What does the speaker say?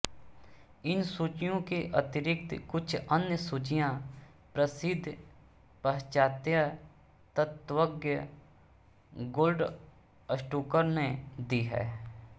इन सूचियों के अतिरिक्त कुछ अन्य सूचियाँ प्रसिद्ध पाश्चात्य तत्वज्ञ गोल्डस्टूकर ने दी हैं